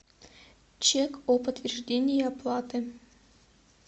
чек о подтверждении оплаты